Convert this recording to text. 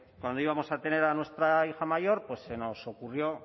cuando íbamos a tener a nuestra hija mayor pues se nos ocurrió